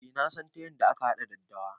Eh nasan ta yanda aka haɗa daddawa